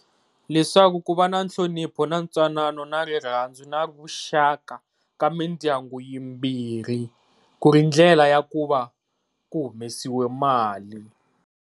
Leswaku ku va na nhlonipho, ntwanano, na rirhandzu na vuxaka ka mindyangu yimbirhi ku ri ndlela ya ku va ku humesiwe mali.